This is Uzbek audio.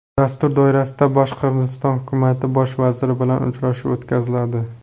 Dastur doirasida Boshqirdiston hukumati bosh vaziri bilan uchrashuv o‘tkaziladi.